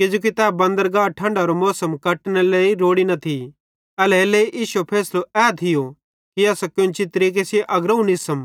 किजोकि तै बंदरगह ठंढारो मौसम कटनेरे लेइ रोड़ी न थी एल्हेरेलेइ इश्शो फैसलो ए थियो कि असां केन्ची तरीके अग्रोवं निस्सम